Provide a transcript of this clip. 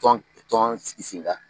Tɔn tɔn sigi sen kan.